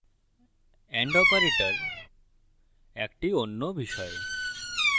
and operator একটি and বিষয়